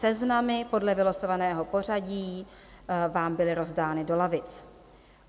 Seznamy podle vylosovaného pořadí vám byly rozdány do lavic.